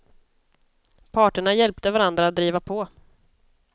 Parterna hjälpte varandra att driva på.